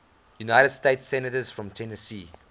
united states senators from tennessee